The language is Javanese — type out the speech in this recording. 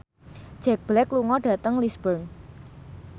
Jack Black lunga dhateng Lisburn